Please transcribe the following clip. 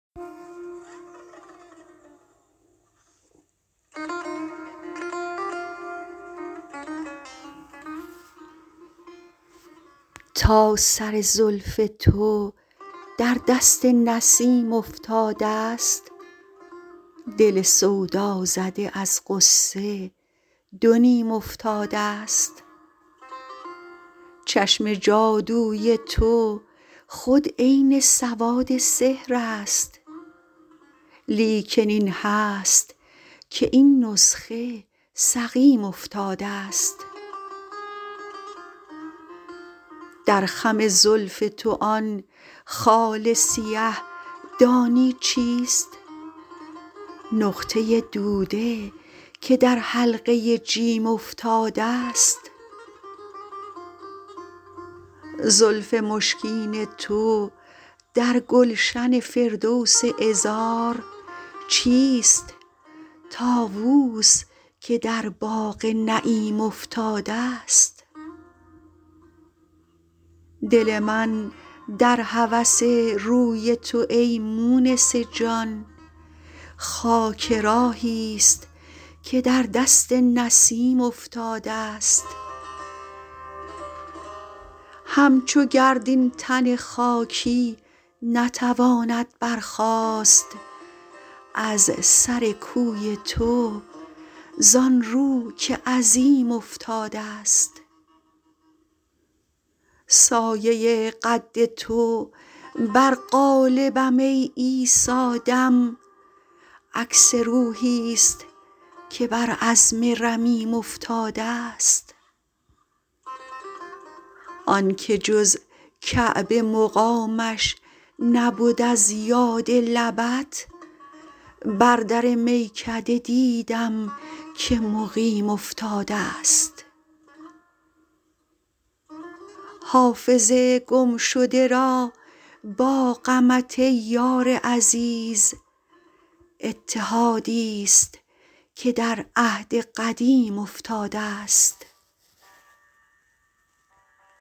تا سر زلف تو در دست نسیم افتادست دل سودازده از غصه دو نیم افتادست چشم جادوی تو خود عین سواد سحر است لیکن این هست که این نسخه سقیم افتادست در خم زلف تو آن خال سیه دانی چیست نقطه دوده که در حلقه جیم افتادست زلف مشکین تو در گلشن فردوس عذار چیست طاووس که در باغ نعیم افتادست دل من در هوس روی تو ای مونس جان خاک راهیست که در دست نسیم افتادست همچو گرد این تن خاکی نتواند برخاست از سر کوی تو زان رو که عظیم افتادست سایه قد تو بر قالبم ای عیسی دم عکس روحیست که بر عظم رمیم افتادست آن که جز کعبه مقامش نبد از یاد لبت بر در میکده دیدم که مقیم افتادست حافظ گمشده را با غمت ای یار عزیز اتحادیست که در عهد قدیم افتادست